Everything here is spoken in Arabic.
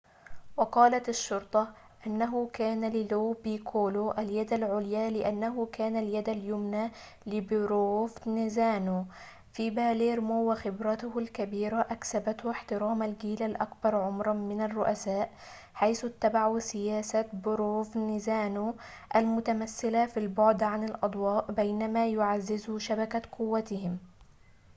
وقالت الشّرطة إنه كان للو بيكولو اليدَ العليا لأنّه كان اليد اليمنى لبروفنزانو في باليرمو وخبرته الكبيرة أكسبته احترام الجيل الأكبر عمراً من الرّؤساء حيث اتّبعوا سياسة بروفنزانو المتمثّلة في البعدِ عن الأضواء بينما يعزّزوا شبكة قوتهم